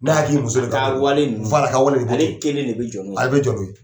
Ne hakili bɛ muso dɔ ta la, a ka wale ninnu, a ka wale ala kelen de bɛ jɔ n'u ye, a bɛ jɔ n'o ye.